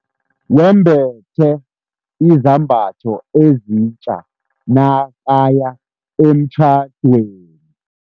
Wembethe izambatho ezitja nakaya emtjhadweni.